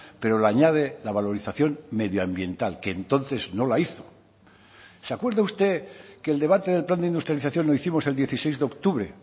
pero le añade la valorización medioambiental que entonces no la hizo se acuerda usted que el debate del plan de industrialización lo hicimos el dieciséis de octubre